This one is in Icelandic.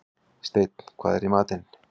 Steinn, hvað er í matinn?